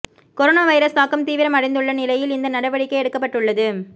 corona virus தாக்கம் தீவிரம் அடைந்துள்ள நிலையில் இந்த நடவடிக்கை எடுக்கப்பட்டுள்ளது